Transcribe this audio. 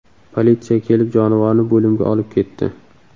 Politsiya kelib, jonivorni bo‘limga olib ketdi.